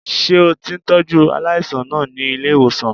Ṣé o ti ń tọ́jú aláàìsàn náà ní ilé-ìwòsàn?